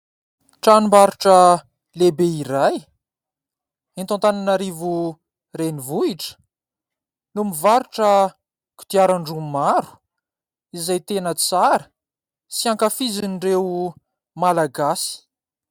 Tranombarotra lehibe iray eto Antananarivo renivohitra no mivarotra kodiaran-droa maro izay tena tsara sy ankafizin'ireo Malagasy.